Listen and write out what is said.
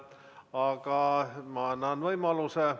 Aga ma annan võimaluse.